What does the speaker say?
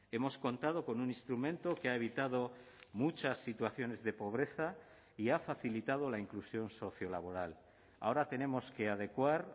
hemos contado con un instrumento que ha evitado muchas situaciones de pobreza y ha facilitado la inclusión sociolaboral ahora tenemos que adecuar